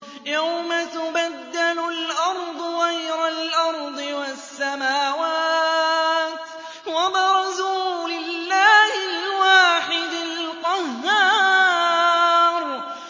يَوْمَ تُبَدَّلُ الْأَرْضُ غَيْرَ الْأَرْضِ وَالسَّمَاوَاتُ ۖ وَبَرَزُوا لِلَّهِ الْوَاحِدِ الْقَهَّارِ